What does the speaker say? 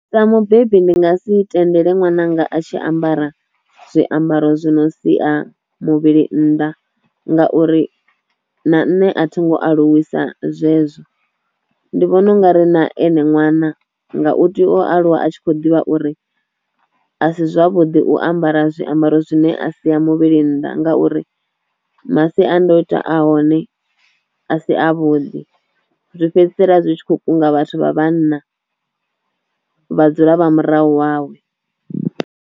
Sa mubebi ndi nga si tendele ṅwananga a tshi ambara zwiambaro zwi no sia muvhili nnḓa ngauri na nṋe a thi ngo aluwisa zwezwo, ndi vhona u nga ri na ene ṅwana nga u tea o aluwa a tshi kho ḓivha uri a si zwavhuḓi u ambara zwiambaro zwine a si a muvhili nnḓa ngauri masiandoitwa a hone a si a vhuḓi, zwi fhedzisela zwi tshi kho kunga vhathu vha vhanna vha dzula vha murahu wawe.